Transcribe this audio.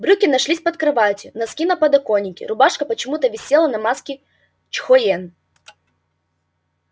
брюки нашлись под кроватью носки на подоконике рубашка почему-то висела на маске чхоен